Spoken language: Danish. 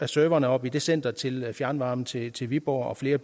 serverne oppe i det center til fjernvarme til til viborg og flere